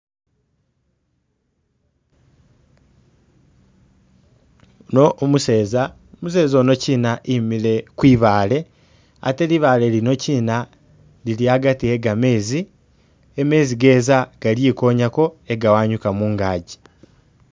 Yuno umuseza, umuseza ono kyina emile kwibaale ate libaale lino kyina lili agati e gamezi mezi geza galikonyako ga'anyuga mungazi.